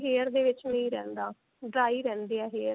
hair ਦੇ ਵਿੱਚ ਨਹੀਂ ਰਹਿੰਦਾ dry ਰਹਿੰਦੇ ਆ hair